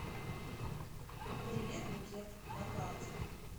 привет букет на карте